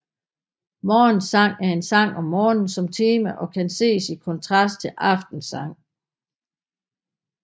Morgensang er en sang med morgen som tema og kan ses i kontrast til aftensang